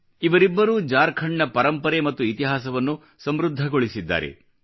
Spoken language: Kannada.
ಇವರಿಬ್ಬರೂ ಜಾರ್ಖಂಡ್ನ ಪರಂಪರೆ ಮತ್ತು ಇತಿಹಾಸವನ್ನು ಸಮೃದ್ಧಗೊಳಿಸಿದ್ದಾರೆ